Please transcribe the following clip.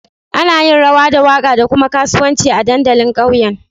Ana yin rawa da waka da kuma kasuwanci a dandalin ƙauyen